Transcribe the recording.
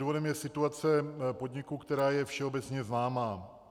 Důvodem je situace podniku, která je všeobecně známá.